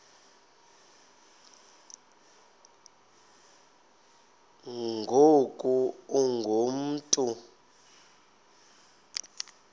ngoku ungu mntu